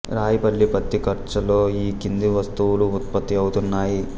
రాయిపల్లి పత్తి కర్చల్లో ఈ కింది వస్తువులు ఉత్పత్తి అవుతున్నాయి